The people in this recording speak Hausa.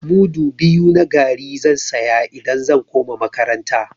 Mudu biyu na garri zan saya idan zan koma makaranta.